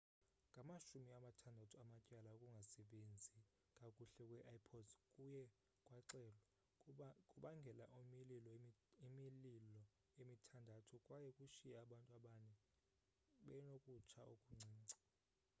ngama-60 amatyala okungasebenzi kakuhle kwe-ipods kuye kwaxelwa kubangela imililo emithandathu kwaye kushiye abantu abane benokutsha okuncinci